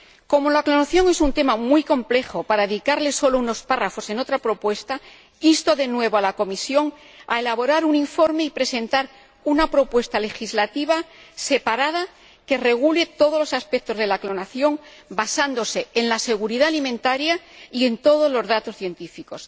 Como la clonación es un tema muy complejo para dedicarle solo unos párrafos en otra propuesta, insto de nuevo a la Comisión a que elabore un informe y presente una propuesta legislativa separada que regule todos los aspectos de la clonación basándose en la seguridad alimentaria y en todos los datos científicos.